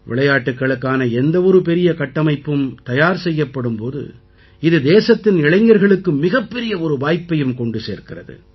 விளையாட்டுக்களுக்கான எந்த ஒரு பெரிய கட்டமைப்பும் தயார் செய்யப்படும் போது இது தேசத்தின் இளைஞர்களுக்கு மிகப்பெரிய ஒரு வாய்ப்பையும் கொண்டு சேர்க்கிறது